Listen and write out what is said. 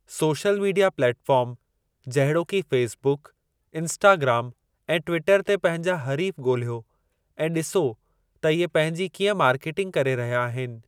Social media platform जहिड़ोकि Facebook, Instagram ऐं Twitter ते पंहिंजा हरीफ़ ॻोलियो ऐं ॾिसो त इहे पंहिंजी कीअं मार्केटिंग करे रहिया आहिनि।